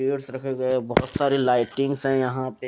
chairs रखे गए है बहोत सारी लाइटिंग है यहां पे --